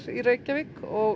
í Reykjavík og